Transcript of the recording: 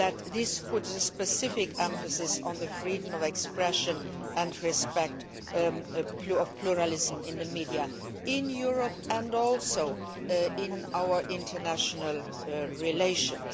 This puts a specific emphasis on freedom of expression and respect for pluralism in the media, in Europe and also in our international relations.